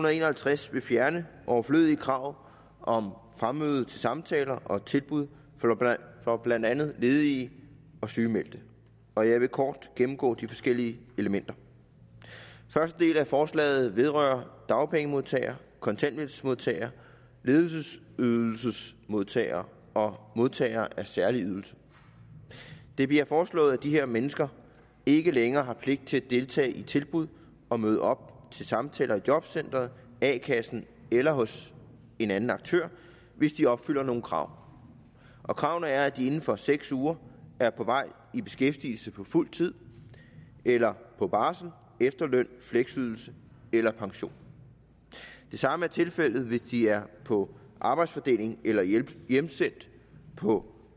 og en og halvtreds vil fjerne overflødige krav om fremmøde til samtaler og tilbud for blandt andet ledige og sygemeldte og jeg vil kort gennemgå de forskellige elementer første del af forslaget vedrører dagpengemodtagere kontanthjælpsmodtagere ledighedsydelsesmodtagere og modtagere af særlige ydelser det bliver foreslået at de her mennesker ikke længere har pligt til at deltage i tilbud og møde op til samtaler i jobcenteret a kassen eller hos en anden aktør hvis de opfylder nogle krav kravene er at de inden for seks uger er på vej i beskæftigelse på fuld tid eller på barsel efterløn fleksydelse eller pension det samme er tilfældet hvis de er på arbejdsfordeling eller hjemsendt på